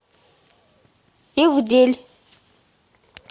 ивдель